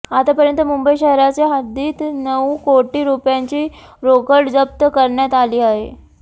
आतापर्यंत मुंबई शहराच्या हद्दीत नऊ कोटी रुपयांची रोकड जप्त करण्यात आली आहे